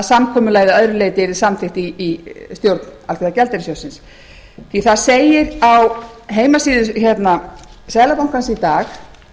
samkomulagið að öðru leyti yrði samþykkt í stjórn alþjóðagjaldeyrissjóðsins því það segir á heimasíðu seðlabankans í dag